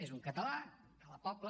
és un català de la pobla